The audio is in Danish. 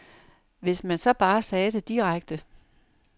Hvis man så bare sagde det direkte.